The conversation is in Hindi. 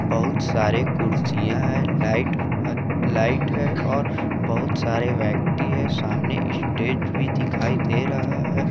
बहुत सारे कुर्सियां हैं लाइट लाइट है और बहुत सारे व्यक्ति है सामने स्टेज भी दिखाई दे रहा है।